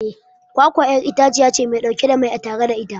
kwakwa'yar itaciyace Mai dauke da mai a tattare da ita